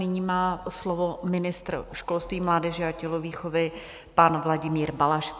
Nyní má slovo ministr školství, mládeže a tělovýchovy, pan Vladimír Balaš.